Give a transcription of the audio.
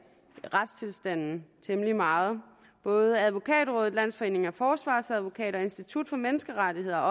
retstilstanden temmelig meget både advokatrådet landsforeningen af forsvarsadvokater og institut for menneskerettigheder